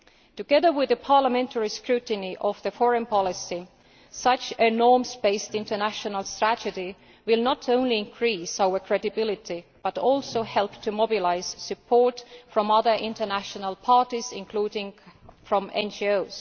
Together with the parliamentary scrutiny of the foreign policy, such a norms based international strategy will not only increase our credibility but will also help to mobilise support from other international parties, including from NGOs.